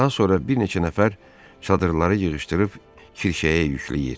Daha sonra bir neçə nəfər çadırları yığışdırıb kirişəyə yükləyir.